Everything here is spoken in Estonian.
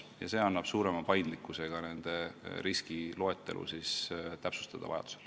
See annab vajadusel suurema paindlikkuse ka nende riskide loetelu täpsustamiseks.